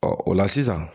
Ɔ o la sisan